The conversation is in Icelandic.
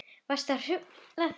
Varstu að hrufla þig vinur?